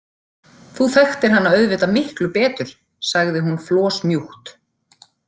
Þú þekktir hana auðvitað miklu betur, sagði hún flosmjúkt.